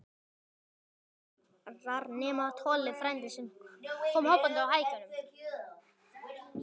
Allt krakkar, nema Tolli frændi, sem kom hoppandi á hækjunum.